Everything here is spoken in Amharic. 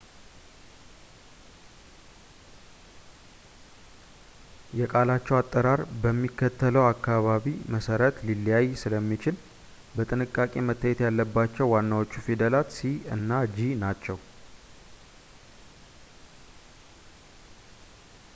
የቃላቸው አጠራር በሚከተለው አናባቢ መሠረት ሊለያይ ስለሚችል በጥንቃቄ መታየት ያለባቸው ዋናዎቹ ፊደላት c እና g ናቸው